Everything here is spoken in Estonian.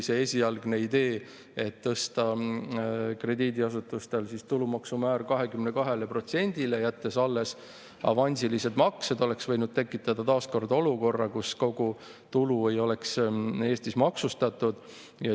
See esialgne idee, et tõsta krediidiasutustel tulumaksumäär 22%-le, jättes alles avansilised maksed, oleks võinud tekitada taas kord olukorra, kus kogu tulu ei oleks Eestis maksustatud.